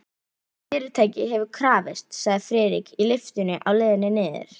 Fyrirtækið hefur krafist, sagði Friðrik í lyftunni á leiðinni niður.